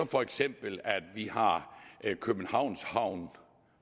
for eksempel københavns havn